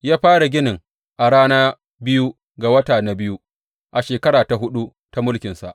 Ya fara ginin a rana biyu ga wata na biyu a shekara ta huɗu ta mulkinsa.